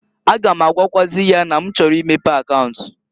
A ga m agwakwaazị ya na m chọrọ imepe akaunt.